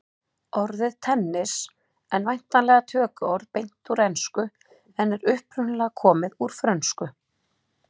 Orðið tennis en væntanlega tökuorð beint úr ensku en er upprunalega komið úr frönsku.